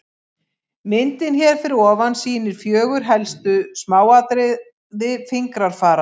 Myndin hér fyrir ofan sýnir fjögur helstu smáatriði fingrafara.